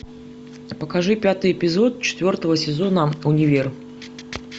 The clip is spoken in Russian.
покажи пятый эпизод четвертого сезона универ